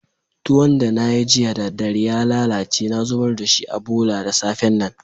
Tuwon da na yi jiya da dare ya lallace na zubar da shi a bolla da safe'n nan.